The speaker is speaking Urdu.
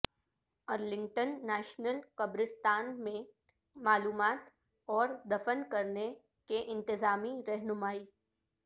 ارلنگٹن نیشنل قبرستان میں معلومات اور دفن کرنے کے انتظامی رہنمائی